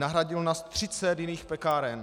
Nahradilo nás 30 jiných pekáren.